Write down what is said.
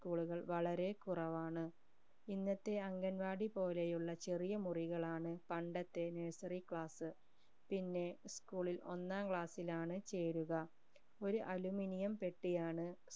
school കൾ വളരെ കുറവാണ് ഇന്നത്തെ അംഗൻവാടി പോലെയുള്ള ചെറിയ മുറികളാണ് പണ്ടത്തെ nursery class പിന്ന school ഇൽ ഒന്നാം class ഇൽ ആണ് ചേരുക ഒരു aluminium പെട്ടി ആണ്